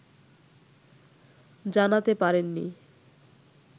জানাতে পারেননি